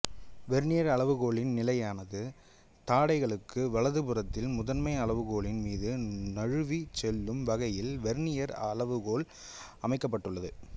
vernier அளவுகோலின் நிலையான தாடைகளுக்கு வலது புறத்தில் முதன்மை அளவுகோலின் மீது நழுவிச் செல்லும் வகையில் வெர்னியர் அளவுகோல் அமைக்கப்பட்டுள்ளது